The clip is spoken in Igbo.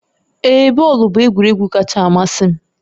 Ee, bọọlụ bụ egwuregwu kacha amasị m